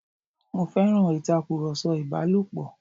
Mo féràn ìtakùrọ̀sọ ìbálòpọ̀.